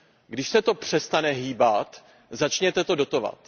Když se to přestane hýbat, začněte to dotovat.